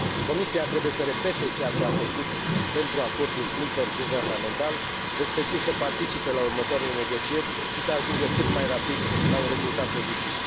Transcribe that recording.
Comisia trebuie să repete ceea ce a făcut pentru acordul interguvernamental, respectiv să participe la următoarele negocieri și să ajungă cât mai rapid la un rezultat pozitiv.